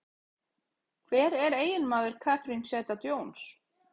Hver er eiginmaður Catherine Zeta-Jones?